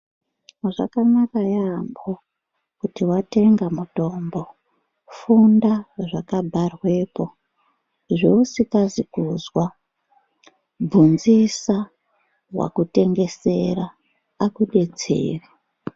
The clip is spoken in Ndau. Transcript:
Zvakanaka yaambo kuti watenga mutombo, funda ngezvakabharwepo zvousikazi kuzwa, bvunzisa wakutengesera akudetsere.